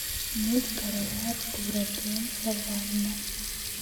меч короля артура джеймса вана